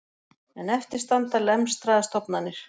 En eftir standa lemstraðar stofnanir